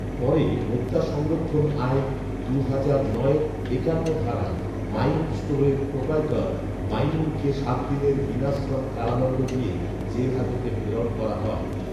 পরে ভোক্তা সংরক্ষণ আইন দুহাজার নয়ের একান্ন ধারায় মাইনুর ষ্টোরের প্রোপাইটর মাইনুলকে সাত দিনের বিনাশ্রম কারাদন্ড দিয়ে জেল হাজতে প্রেরণ করা হয়